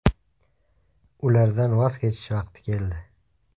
Ulardan voz kechish vaqti keldi.